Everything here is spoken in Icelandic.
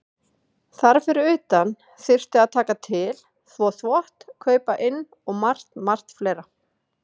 Þar fyrir utan þyrfti að taka til, þvo þvott, kaupa inn og margt, margt fleira.